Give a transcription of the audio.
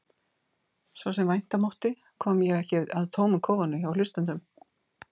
Svo sem vænta mátti kom ég ekki að tómum kofunum hjá hlustendum.